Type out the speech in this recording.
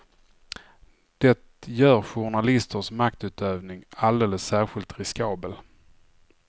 Det gör journalisters maktutövning alldeles särskilt riskabel.